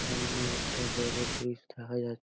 সামনে একটা বড় ব্রিজ দেখা যা--